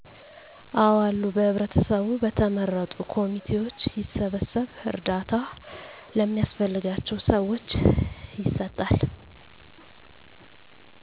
አዎአሉ በህብረተሰቡ በተመረጡት ኮምቴዎች ይሰበሰብ እርዳታ ለሚያስፈልጋቸዉ ሰዎች ይሰጣል